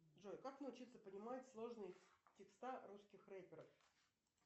джой как научиться понимать сложные текста русских реперов